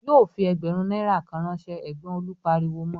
"Yóò fi ẹgbẹ̀rún náírà kan ránṣẹ́!" Ẹ̀gbọ́n Olú pariwo mọ.